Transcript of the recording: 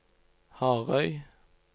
Harøy